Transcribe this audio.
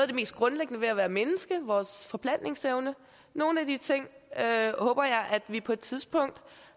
det mest grundlæggende ved at være menneske vores forplantningsevne nogle af de ting håber jeg at vi på et tidspunkt